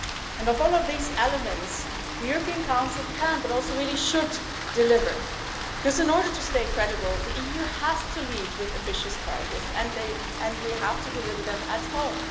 And of all of these elements, the European Council can, but also really should, deliver. Because in order to stay credible, the EU has to lead with ambitious targets and we have to deliver them at